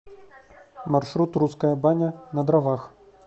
маршрут русская баня на дровах